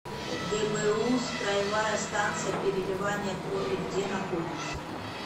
гбуз краевая станция переливания крови где находится